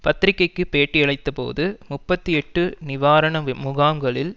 பத்திரிகைக்கு பேட்டியளித்தபோது முப்பத்தி எட்டு நிவாரண முகாம்களில்